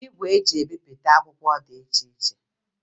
Igwe eji ebipụta akwụkwọ dị iche iche